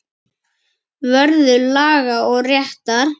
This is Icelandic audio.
Vörður laga og réttar.